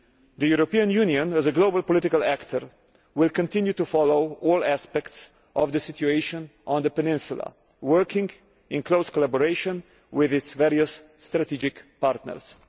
The European Union, as a global political actor, will continue to follow all aspects of the situation on the Peninsula, working in close collaboration with its various strategic partners.